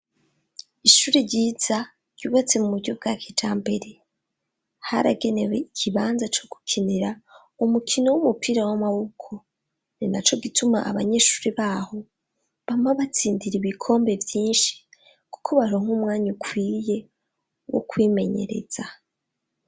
ishuri ryiza ryubatse mu buryo bwakija mbere haragenewe ikibanza co gukinira umukino w'umupira w'amaboko rinaco gituma abanyeshuri baho bama batsindira ibikombe byinshi kuko baronk umwanya ukwiye wo kwimenyereza